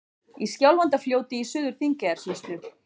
Í Skjálfandafljóti í Suður-Þingeyjarsýslu.